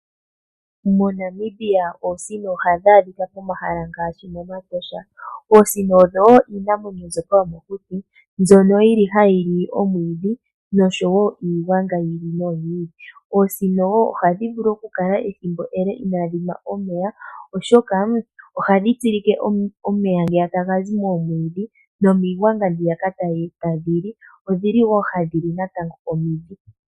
MoNamibia oosino ohadhi adhika pomahala ngaashi mOmatosha. Oosino odho iinamwenyo mbyoka yomokuti mbyoka hayi li omwiidhi noshowo iigwanga yi ili noyi ili. Oosino ohadhi vulu okukala ethimbo ele inaadhi nwa omeya, oshoka ohadhi tsilike omeya ngoka taga zi moomwiidhi nomiigwanga mbyoka tadhi li. Odhi li wo hadhi li omidhi.